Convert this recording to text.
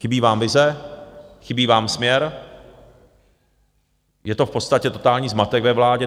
Chybí vám vize, chybí vám směr, je to v podstatě totální zmatek ve vládě.